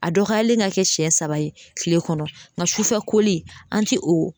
A dɔgɔyalen ka kɛ siɲɛ saba ye kile kɔnɔ, nga sufɛ koli an ti o